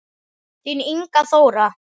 Þín Inga Þóra.